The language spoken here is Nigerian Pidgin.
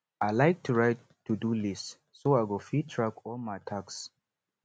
i like to write todo list so i go fit track all my tasks